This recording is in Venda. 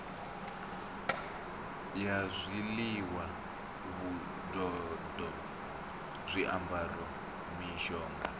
ya zwiḽiwa vhududo zwiambaro mishonga